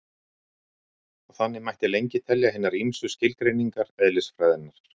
Og þannig mætti lengi telja hinar ýmsu skilgreiningar eðlisfræðinnar.